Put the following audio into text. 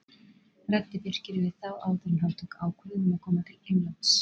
Ræddi Birkir við þá áður en hann tók ákvörðun um að koma til Englands?